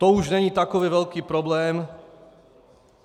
To už není takový velký problém.